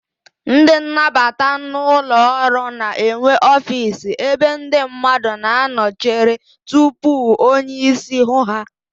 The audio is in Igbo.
Ndị nnabata n'ụlọọrụ na-enwe ofiisi ebe ndị mmadụ na-anọ echere tupu onyeísí hụ ha.